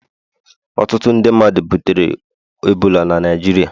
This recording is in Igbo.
Ọtụtụ ndị mmadu butere ebola na Naịjirịa